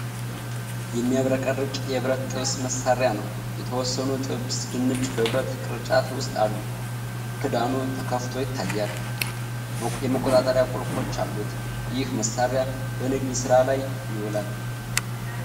የሚያብረቀርቅ የብረት ጥብስ መሣሪያ ነው። የተወሰኑ ጥብስ ድንች በብረት ቅርጫት ውስጥ አሉ። ክዳኑ ተከፍቶ ይታያል፤ የመቆጣጠሪያ ቁልፎች አሉት። ይህ መሣሪያ በንግድ ሥራ ላይ ይውላል?